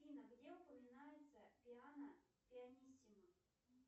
афина где упоминается пиано пианиссимо